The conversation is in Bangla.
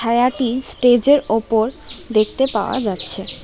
ভায়াটি স্টেজের ওপর দেখতে পাওয়া যাচ্ছে।